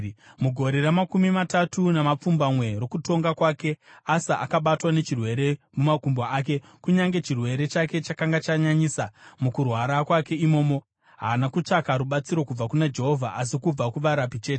Mugore ramakumi matatu namapfumbamwe rokutonga kwake, Asa akabatwa nechirwere mumakumbo ake. Kunyange chirwere chake chakanga chanyanyisa mukurwara kwake imomo haana kutsvaka rubatsiro kubva kuna Jehovha asi kubva kuvarapi chete.